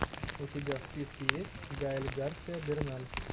у тебя в списке есть гаэль гарсиа берналь